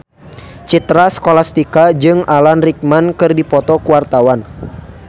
Citra Scholastika jeung Alan Rickman keur dipoto ku wartawan